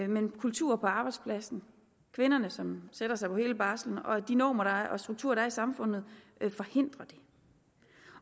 men kulturer på arbejdspladsen kvinderne som sætter sig på hele barslen og de normer og strukturer der er i samfundet forhindrer det